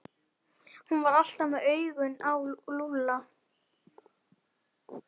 Hún var alltaf með augun á Lúlla.